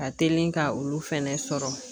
Ka teli ka olu fɛnɛ sɔrɔ